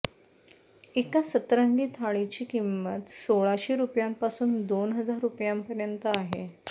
एका सतरंगी थाळीची किंमत सोळाशे रुपयांपासून दोन हजार रुपयांपर्यंत आहे